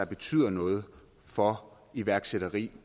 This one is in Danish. betyder noget for iværksætteri